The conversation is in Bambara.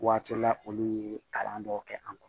Waati la olu ye kalan dɔw kɛ an kun